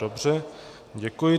Dobře, děkuji.